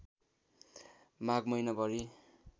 माघ महिनाभरि